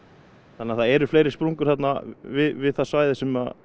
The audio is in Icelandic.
þannig að það eru fleiri sprungur þarna við það svæði sem